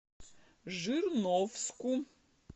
жирновску